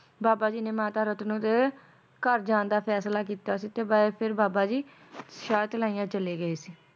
ਬਾਬਾ ਜੀ ਨੇ ਮਾਤਾ ਰਤਨੋ ਦੇ ਘਰ ਜਾਣ ਦਾ ਫੈਸਲਾ ਕੀਤਾ ਸੀ ਤੇ ਫੇਰ ਬਾਬਾ ਜੀ ਸ਼ਾਹਤਲਾਈਆਂ ਚਲੇ ਗਏ ਸੀ